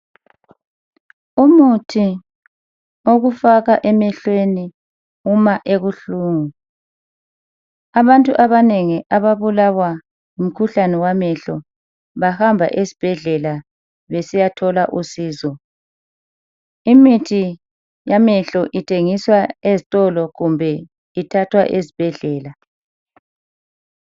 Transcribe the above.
Umuthi owokufaka emehlweni uma ebuhlungu. Abantu abanengi ababulawa ngumkhuhlane wamehlo bahamba esibhedlela besiyathola usizo. Imithi yamehlo ithengiswa ezitolo kumbe ithathwa esibhedlela.